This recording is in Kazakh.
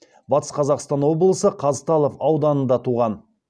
батыс қазақстан облысы қазталов ауданында туған